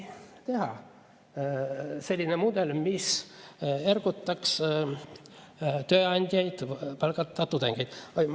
selline mudel, mis ergutaks tööandjaid tudengid palkama.